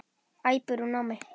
æpir hún á mig.